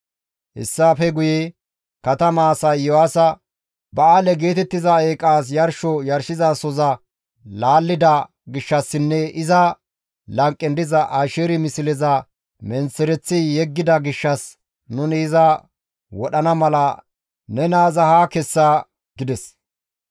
Hessafe guye katama asay Iyo7aasa, «Ba7aale geetettiza eeqaas yarsho yarshizasoza laallida gishshassinne iza lanqen diza Asheeri misleza menththereththi yeggida gishshas nuni iza wodhana mala ne naaza haa kessa» gides.